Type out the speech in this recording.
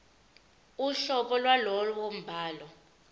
uhlobo lwalowo mbhalo